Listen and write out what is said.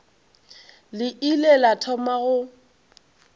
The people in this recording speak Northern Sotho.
le ile la thoma go